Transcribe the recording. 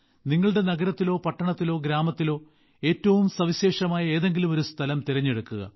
നിങ്ങളുടെ നഗരത്തിലോ പട്ടണത്തിലോ ഗ്രാമത്തിലോ ഏറ്റവും സവിശേഷമായ ഏതെങ്കിലും സ്ഥലം തിരഞ്ഞെടുക്കുക